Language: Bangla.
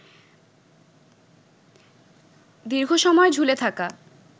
দীর্ঘসময় ঝুলে থাকা